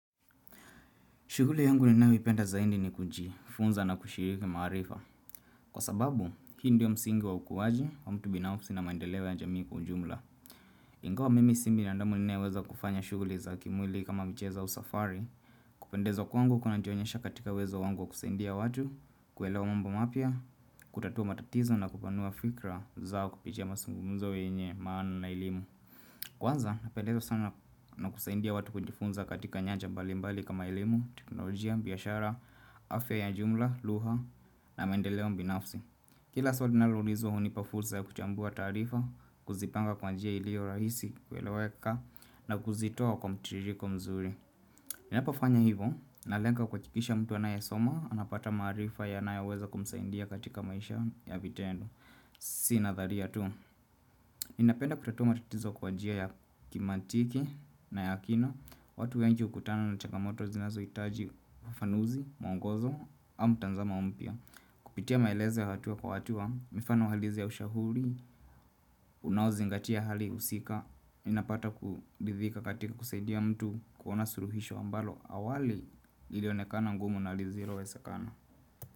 Shughuli yangu ninayoipenda zaidi ni kujifunza na kushiriki maarifa. Kwa sababu, hi ndiyo msingi wa ukuaji wa mtu binafsi na maendeleo ya jamii kwa ujumla. Ingawa mimi si binadamu ninayeweza kufanya shughuli za kimwili kama mchezo au safari. Kupendezwa kwangu kunajionyesha katika uwezo wangu wa kusaindia watu, kuelewa mambo mapya, kutatua matatizo na kupanua fikra zao kupitia mazungumzo wenye maana na elimu. Kwanza, napendezwa sana na kusaidia watu kujifunza katika nyanja mbali mbali kama elimu, teknolojia, biashara, afya ya jumla, lugha na maendeleo binafsi. Kila swali linaloulizwa hunipa fursa ya kuchambua taarifa, kuzipanga kwa njia ilio rahisi kueleweka na kuzitoa kwa mtiriko mzuri. Ninapofanya hivo, nalenga kuwachukisha mtu anayesoma, anapata maarifa yanayo weza kumsaindia katika maisha ya vitendo. Si na dharia tu. Ninapenda kutatua tatizo kwa njia ya kimantiki na ya kina. Watu wengi hukutana na chagamoto zinazohitaji ufafanuzi, mwongozo au mtazamo mpya. Kupitia maelezo ya hatua kwa hatua, mifano halisi ya ushauri, unaozingatia hali husika. Ninapata kuridhika katika kusaidia mtu kuona suluhisho ambalo. Awali lilionekana ngumu na lisilowezekana.